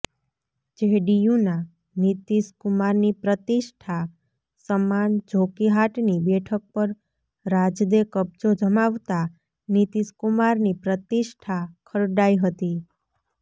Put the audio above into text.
જેડીયુના નીતિશ કુમારની પ્રતિષ્ઠા સમાન જોકીહાટની બેઠક પર રાજદે કબજો જમાવતા નીતિશકુમારની પ્રતિષ્ઠા ખરડાઇ હતી